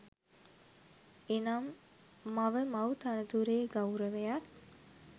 එනම්, මව මව් තනතුරේ ගෞරවයත්